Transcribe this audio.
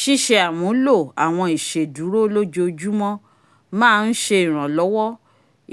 ṣiṣe amulo awọn iṣeduro lojoojumọ má n ṣe iranlọwọ